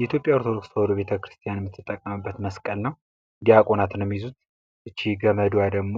የኢትዮጵያ ኦርቶዶክስ ተዋህዶ ቤተ ክርስቲያን የምትጠቀምበት መስቀል ነው። ዲያቆናት ነው ገመዷ ደግሞ